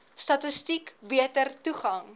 statistiek beter toegang